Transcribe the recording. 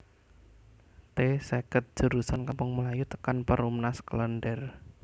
T seket jurusan Kampung Melayu tekan Perumnas Klender